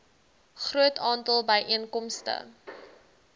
groot aantal byeenkomste